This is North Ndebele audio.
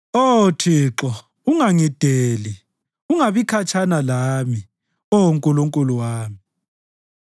Oh Thixo, ungangideli; ungabi khatshana lami, Oh Nkulunkulu wami.